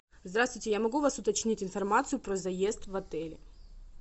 здравствуйте я могу у вас уточнить информацию про заезд в отеле